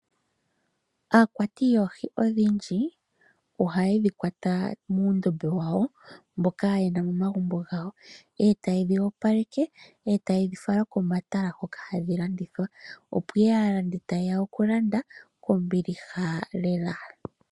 Aakwati yoohi odhindji ohaye dhi kwata muundombe wadho mboka ye na momagumbo gawo. Etaye dhi opaleke, etaye dhi fala komatala hoka hadhi landithwa opo aalandi taye ya okulanda kombiliha lela.